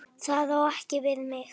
Það á ekki við mig.